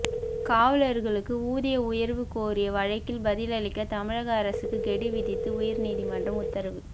காவலா்களுக்கு ஊதிய உயா்வு கோரிய வழக்கில் பதிலளிக்க தமிழக அரசுக்கு கெடு விதித்து உயா்நீதிமன்றம் உத்தரவு